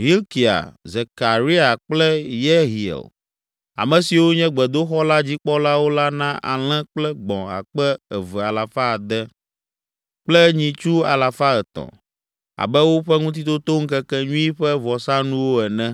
Hilkia, Zekaria kple Yehiel, ame siwo nye gbedoxɔ la dzikpɔlawo la na alẽ kple gbɔ̃ akpe eve alafa ade (2,600) kple nyitsu alafa etɔ̃ (300) abe woƒe Ŋutitotoŋkekenyui ƒe vɔsanuwo ene.